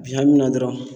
Bi hali na dɔrɔn